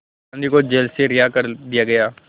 गांधी को जेल से रिहा कर दिया गया